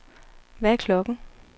Hvad er klokken